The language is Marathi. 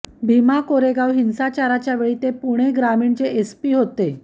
भीमा कोरेगाव हिंसाचाराच्या वेळी ते पुणे ग्रामीणचे एसपी होते